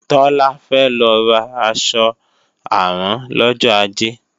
Tọ́lá fẹ́ lọ ra aṣọ àrán lọ́jọ ajé